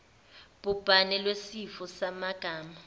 bhubhane lwesifo samagama